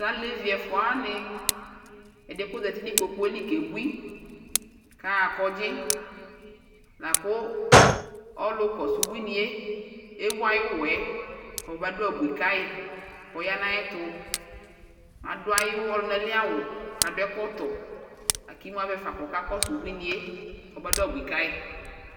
Tu alevi ɛfua wani ɛdi yɛ ku ɔza uti nu kpokpuɛ li kebui ku aɣa ɔgbadudza la ku ɔlu kɔsu ubui ni yɛ ewu ayu uwɔ yɛ ku ɔba du abui ka yi ku ɔya nu ayɛtu adu ayu ɔlunali awu ku adu ɛkɔtɔ la ku emu avɛ fa kɔkakɔsu ebuini yɛ kɔmadu abui ka yi